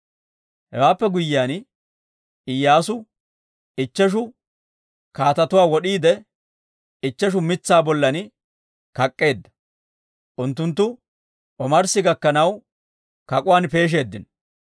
Hewaappe guyyiyaan Iyyaasu ichcheshu kaatetuwaa wod'iide ichcheshu mitsaa bollan kak'k'eedda; unttunttu omarssi gakkanaw kak'uwaan peeshsheeddino.